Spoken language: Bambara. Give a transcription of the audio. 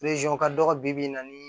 ka dɔgɔ bibi in na ni